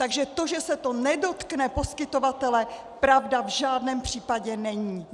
Takže to, že se to nedotkne poskytovatele, pravda v žádném případě není.